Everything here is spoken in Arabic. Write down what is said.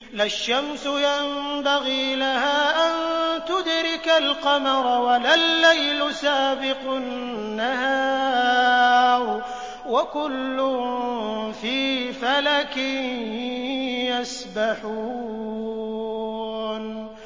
لَا الشَّمْسُ يَنبَغِي لَهَا أَن تُدْرِكَ الْقَمَرَ وَلَا اللَّيْلُ سَابِقُ النَّهَارِ ۚ وَكُلٌّ فِي فَلَكٍ يَسْبَحُونَ